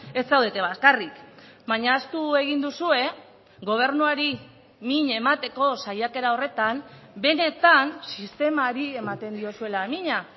ez zaudete bakarrik baina ahaztu egin duzue gobernuari min emateko saiakera horretan benetan sistemari ematen diozuela mina